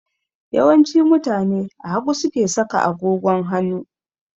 Yawanci mutane a hagu suke saka agogon hanu